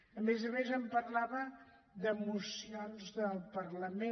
a més a més em parlava de mocions del parlament